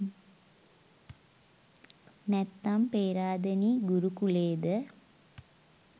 නැත්නම් පේරාදෙනි ගුරු කුලේද?